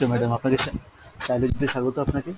আপনাকে স্বাগত আপনাকে।